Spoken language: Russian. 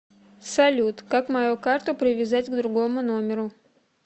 салют как мою карту привязать к другому номеру